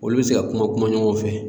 Olu bɛ se ka kuma kuma ɲɔgɔn fɛ.